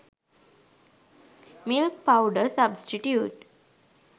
milk powder substitute